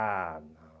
Ah, não.